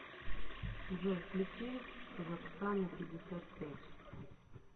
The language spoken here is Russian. джой включи зоксана пятьдесят пять